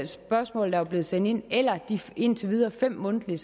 spørgsmål der er blevet sendt ind eller de indtil videre fem mundtlige